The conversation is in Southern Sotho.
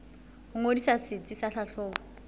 ho ngodisa setsi sa tlhahlobo